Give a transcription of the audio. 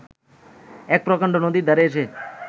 এক প্রকাণ্ড নদীর ধারে এসে